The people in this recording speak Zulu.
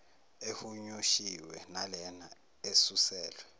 ehunyushiwe nalena esuselwe